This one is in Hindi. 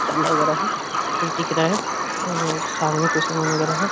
डर लग रहा है। कोई दिख रहा है और सामने कुछ सामान वगैरा है।